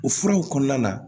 O furaw kɔnɔna la